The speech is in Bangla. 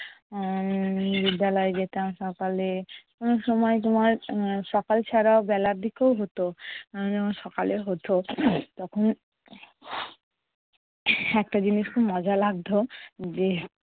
উম বিদ্যালয়ে যেতাম সকালে। অনেক সময় সময় সকাল ছাড়াও বেলার দিকেও হতো। এর যখন সকালে হতো তখন একটা জিনিস খুব মজা লাগতো যে